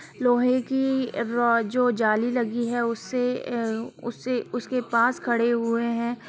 लोहे की रो जो जाली लगी है उसे उसे उसके पास खड़े हुए हैं।